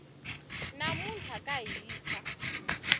namuntlha ka hisa